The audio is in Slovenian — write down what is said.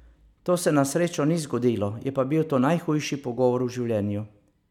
To se na srečo ni zgodilo, je pa bil to najhujši pogovor v življenju.